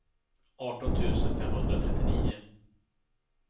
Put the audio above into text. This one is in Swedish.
arton tusen femhundratrettionio